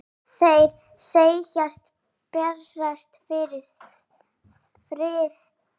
Þeir segjast berjast fyrir friði.